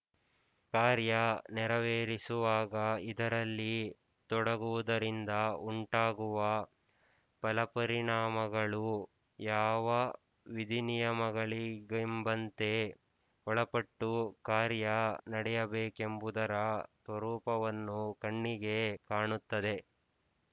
ಕಾರ್ಯ ನೆರವೇರಿಸುವಾಗ ಇದರಲ್ಲಿ ತೊಡಗುವುದರಿಂದ ಉಂಟಾಗುವ ಫಲಪರಿಣಾಮಗಳು ಯಾವ ವಿಧಿನಿಯಮಗಳಿಗೆಂಬಂತೆ ಒಳಪಟ್ಟು ಕಾರ್ಯ ನಡೆಯಬೇಕೆಂಬುದರ ಸ್ವರೂಪವನ್ನು ಕಣ್ಣಿಗೆ ಕಾಣುತ್ತದೆ